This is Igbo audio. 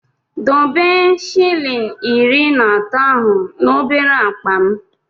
Debe shịlịn iri na atọ ahụ n'obere akpa m!